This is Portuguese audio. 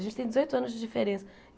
A gente tem dezoito anos de diferença.